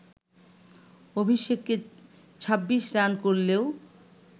অভিষেকে ২৬ রান করলেও